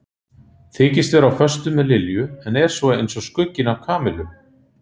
Þykist vera á föstu með Lilju en er svo eins og skugginn af Kamillu.